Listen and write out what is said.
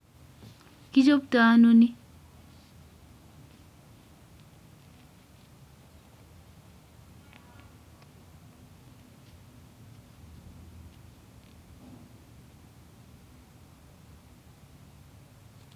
Kichoptoi ano ni